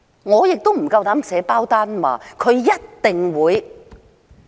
我亦不敢保證它一定會。